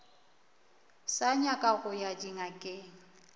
sa nyaka go ya dingakeng